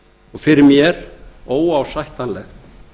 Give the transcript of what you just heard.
og fyrir mér óásættanlegt